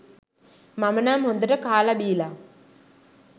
මම නම් හොඳට කාල බිලා